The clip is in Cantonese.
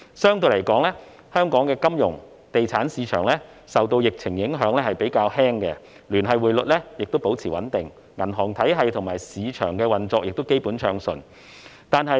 相對來說，香港的金融及地產市場受疫情影響比較輕微，聯繫匯率保持穩定，銀行體系及市場運作亦基本暢順。